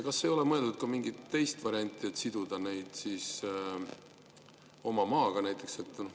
Kas ei ole mõeldud ka mingile teisele variandile, et siduda neid oma maaga?